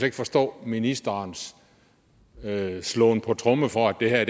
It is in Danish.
ikke forstå ministerens slåen på tromme for at det her